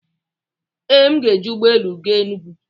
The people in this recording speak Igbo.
Ee, m ga-eji ụgbọ elu gaa Enugwu.